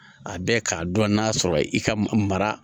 A bɛ k'a dɔn n'a sɔrɔ i ka mara